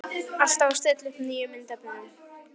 Alltaf að stilla upp nýjum myndefnum.